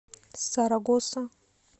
сарагоса